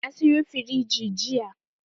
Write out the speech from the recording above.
Na sayo firiji jiya.